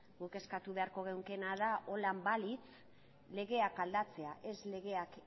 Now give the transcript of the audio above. guk eskatu beharko genukeena da holan balitz legeak aldatzea ez legeak